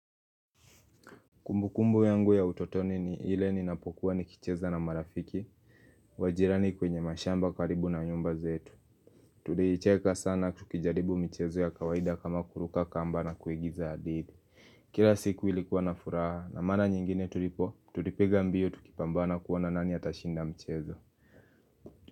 Kumbu kumbu yangu ya utotoni ni ile ninapokuwa ni kicheza na marafiki. Wajirani kwenye mashamba karibu na nyumba zetu. Tulicheka sana tukijaribu michezo ya kawaida kama kuruka kamba na kuigiza hadithi. Kila siku ilikuwa na furaha na mara nyingine tulipo, tulipiga mbio tukipambana kuona nani atashinda mchezo.